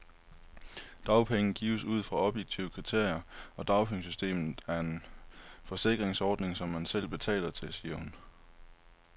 Dagpenge gives ud fra objektive kriterier, og dagpengesystemet er en forsikringsordning, som man selv betaler til, siger hun.